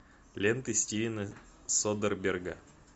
ленты стивена содерберга